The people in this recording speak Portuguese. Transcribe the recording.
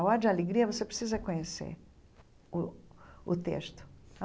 Ode a alegria, você precisa conhecer o o texto.